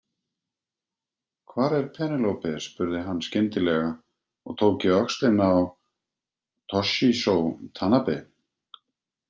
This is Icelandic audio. Hvar er Penélope spurði hann skyndilega og tók í öxlina á Toshizo Tanabe.